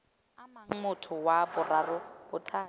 amang motho wa boraro bothati